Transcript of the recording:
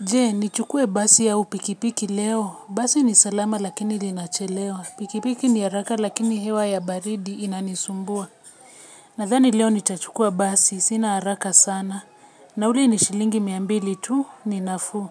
Je nichukue basi au pikipiki leo? Basi ni salama lakini linachelewa. Pikipiki ni haraka lakini hewa ya baridi inanisumbua. Nadhani leo nitachukua basi sina haraka sana. Na ule ni shilingi mia mbili tu ni nafuu.